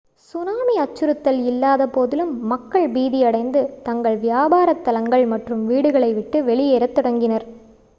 tsunami அச்சுறுத்தல் இல்லாத போதிலும் மக்கள் பீதி அடைந்து தங்கள் வியாபாரத் தலங்கள் மற்றும் வீடுகளை விட்டு வெளியேறத் தொடங்கினர்